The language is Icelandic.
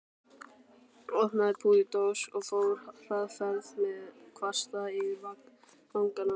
Opnaði púðurdós og fór hraðferð með kvasta yfir vangana.